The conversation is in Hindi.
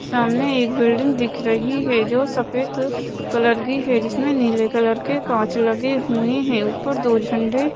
सामने एक बिल्डिंग दिख रही हैं जो सफ़ेद कलर की हैं जिसमें नीले कलर के काँच लगे हुए हैं ऊपर दो झंडे--